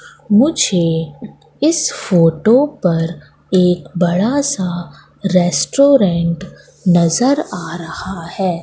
मुझे इस फोटो पर एक बड़ा सा रेस्टोरेंट नजर आ रहा है।